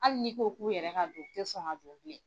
Hali nii ko k'u yɛrɛ ka don u tɛ sɔn ka jɔ